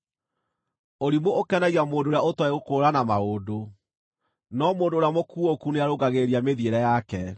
Ũrimũ ũkenagia mũndũ ũrĩa ũtooĩ gũkũũrana maũndũ, no mũndũ ũrĩa mũkuũku nĩarũngagĩrĩria mĩthiĩre yake.